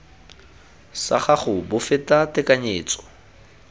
sa gago bo feta tekanyetso